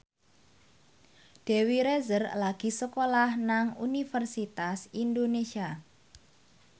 Dewi Rezer lagi sekolah nang Universitas Indonesia